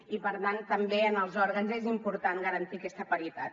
i per tant també en els òrgans és important garantir aquesta paritat